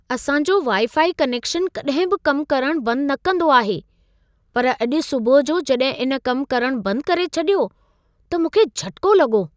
असां जो wifi connection कॾहिं बि कम करण बंद न कंदो आहे, पर अॼु सुबुह जो जॾहिं इन कम करण बंद करे छॾियो त मूंखे झटिको लॻो।